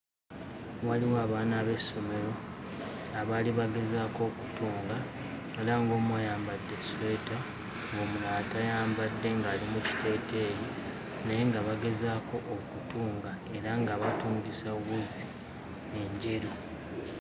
Waliwo abaana b'essomero abaali bagezaako okutunga era ng'omu ayambadde essweta ng'omulala tayambadde ng'ali mu kiteeteeyi naye nga bagezaako okutunga, era nga batungisa wuzi enjeru.